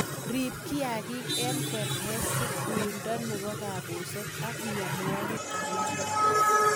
Riib kiagik eng kerebesik, uindo nebo kabuset ak mienwokik alage